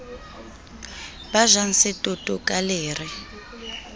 ba jang setoto ka lere